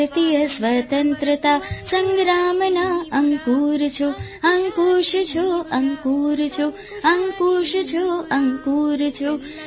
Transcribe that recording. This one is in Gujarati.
ભારતીય સ્વતંત્રતા સંગ્રામના અંકુર છો અંકુશ છો